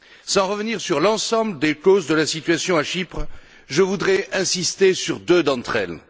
Sans revenir sur l'ensemble des causes de la situation à Chypre, je voudrais insister sur deux d'entre elles.